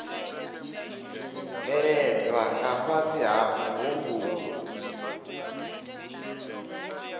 bveledzwa nga fhasi ha muhumbulo